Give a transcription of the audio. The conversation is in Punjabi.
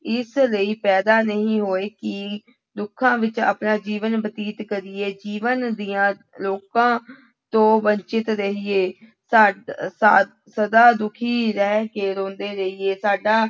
ਇਸ ਲਈ ਪੈਦਾ ਨਹੀਂ ਹੋਏ ਕਿ ਦੁੱਖਾਂ ਵਿੱਚ ਆਪਣਾ ਜੀਵਨ ਬਤੀਤ ਕਰੀਏ, ਜੀਵਨ ਦੀਆਂ ਲੋਕਾਂ ਤੋਂ ਵੰਚਿਤ ਰਹੀਏ ਸਾ ਸ ਸਦਾ ਦੁੱਖੀ ਰਹਿ ਕੇ ਰੋਂਦੇ ਰਹੀਏ ਸਾਡਾ